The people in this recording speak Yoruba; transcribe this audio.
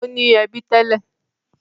Ó ní ẹbí tẹ́lẹ̀.